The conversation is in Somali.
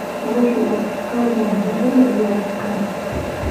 Noloshu way adkaan doontaa xilli ciyaareedkan.